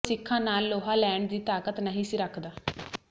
ਉਹ ਸਿੱਖਾਂ ਨਾਲ ਲੋਹਾ ਲੈਣ ਦੀ ਤਾਕਤ ਨਹੀਂ ਸੀ ਰੱਖਦਾ